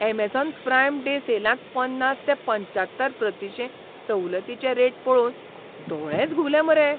Amazon Prime Day सेलांत पन्नास ते पंच्यात्तर प्रतिशें सवलतींचे रेट पळोवन दोळेच घुंवले मरे.